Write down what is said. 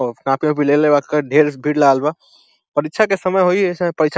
ओ कपि उपि लेले बा और ढेर भीड़ लागल बा परीक्षा के समय होइ एसे परीक्षा --